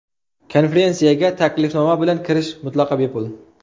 Konferensiyaga taklifnoma bilan kirish mutlaqo bepul.